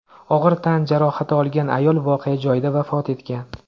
Og‘ir tan jarohati olgan ayol voqea joyida vafot etgan.